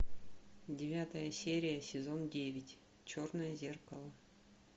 девятая серия сезон девять черное зеркало